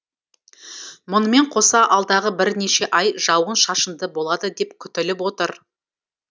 мұнымен қоса алдағы бірнеше ай жауын шашынды болады деп күтіліп отыр